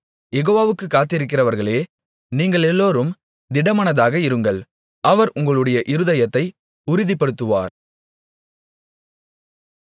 யெகோவாவுக்குக் காத்திருக்கிறவர்களே நீங்களெல்லாரும் திடமனதாக இருங்கள் அவர் உங்களுடைய இருதயத்தை உறுதிப்படுத்துவார்